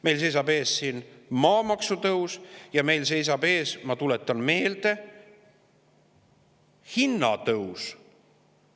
Meil seisab ees maamaksu tõus ja meil seisab ees, ma tuletan meelde, hinnatõus.